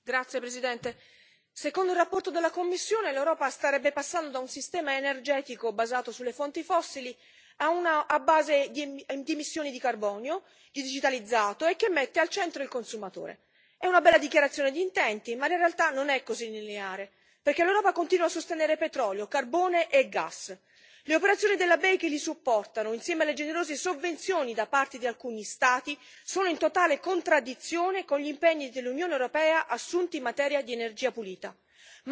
Signor Presidente, onorevoli colleghi, secondo una relazione della Commissione, l'Europa starebbe passando da un sistema energetico basato sulle fonti fossili a uno a base di missioni di carbonio, digitalizzato e che mette al centro il consumatore. È una bella dichiarazione d'intenti, ma in realtà non è così lineare, perché l'Europa continua a sostenere, petrolio, carbone e gas. Le operazioni della BEI che li supportano, insieme alle generose sovvenzioni da parte di alcuni Stati, sono in totale contraddizione con gli impegni dell'Unione europea assunti in materia di energia pulita.